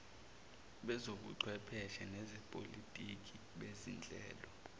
bezobuchwepheshe nezepolitiki bezinhlelo